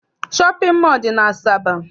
Shọpịn mọọ dị n'Asaba.